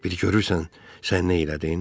Bir görürsən, sən nə elədin?